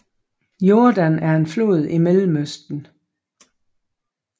Jordan er en flod i Mellemøsten